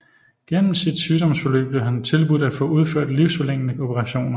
Gennem sit sygdomsforløb blev han tilbudt at få udført livsforlængende operationer